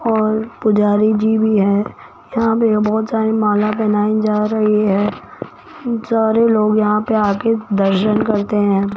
और पुजारी जी भी है यहां पे बहोत सारी माला पहनाई जा रही है सारे लोग यहां पे आ के दर्शन करते हैं।